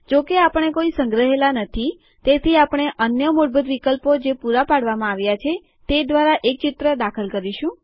જો કે આપણે કોઈ સંગ્રહેલા નથી તેથી આપણે અન્ય મૂળભૂત વિકલ્પો જે પુરા પાડવામાં આવ્યા છે તે દ્વારા એક ચિત્ર દાખલ કરીશું